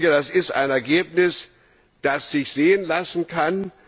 Das ist ein Ergebnis, das sich sehen lassen kann.